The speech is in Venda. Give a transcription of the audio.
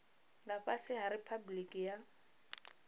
nga fhasi ha riphabuliki ya